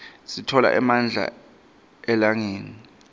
sitfola emandla elangeni